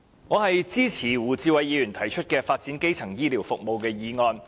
我支持胡志偉議員提出的"發展基層醫療服務"的議案。